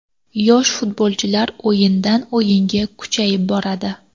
Yosh futbolchilar o‘yindan o‘yinga kuchayib boradi.